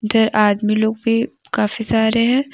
इधर आदमी लोग भी काफी सारे हैं।